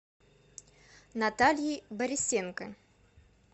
натальей борисенко